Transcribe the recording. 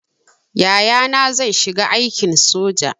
Yayana zai shiga aikin soja